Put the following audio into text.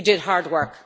You did hard work.